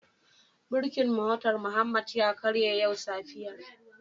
Birkin motar Muhammad ya karye yau safiyar.